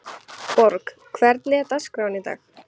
Borg, hvernig er dagskráin í dag?